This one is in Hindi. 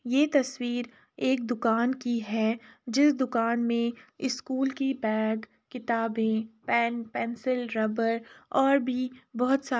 ये तस्वीर एक दुकान की है जिस दुकान में स्कूल की पेंट किताबे पेन पेन्सिल रबड़ और भी बहोत सारी --